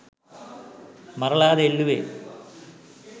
මරලාද එල්ලුවේ